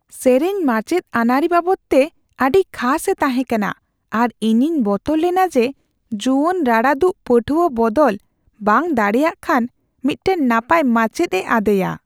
ᱥᱮᱹᱨᱮᱹᱧ ᱨᱢᱟᱪᱮᱫ ᱟᱹᱱᱟᱹᱨᱤ ᱵᱟᱵᱚᱫᱛᱮ ᱟᱹᱰᱤ ᱠᱷᱟᱥᱼᱮ ᱛᱟᱦᱮᱸ ᱠᱟᱱᱟ, ᱟᱨ ᱤᱧᱤᱧ ᱵᱚᱛᱚᱨ ᱞᱮᱱᱟ ᱡᱮ ᱡᱩᱣᱟᱹᱱ ᱨᱟᱲᱟᱫᱩᱜ ᱯᱟᱹᱴᱷᱩᱣᱟᱹ ᱵᱚᱫᱚᱞ ᱵᱟᱝ ᱫᱟᱲᱮᱭᱟᱜ ᱠᱷᱟᱱ ᱢᱤᱫᱴᱟᱝ ᱱᱟᱯᱟᱭ ᱢᱟᱪᱮᱫᱼᱮ ᱟᱫᱮᱭᱟ ᱾